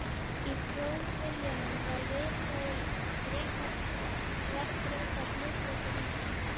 Í Þjóðviljanum var viðkvæðið líkt: Bretar þverbrjóta hlutleysi Íslands.